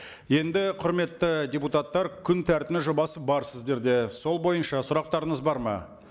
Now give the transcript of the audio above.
енді құрметті депутаттар күн тәртібінің жобасы бар сіздерде сол бойынша сұрақтарыңыз бар ма